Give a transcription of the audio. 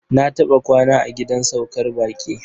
Na taɓa kwana a gidan saukar baƙi.